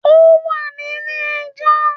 Ó wà nílé ẹ jọ́